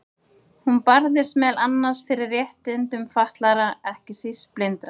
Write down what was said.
Hún barðist meðal annars fyrir réttindum fatlaðra, ekki síst blindra.